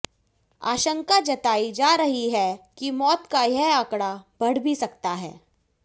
आशंका जताई जा रही है कि मौत का यह आंकड़ा बढ़ भी सकता है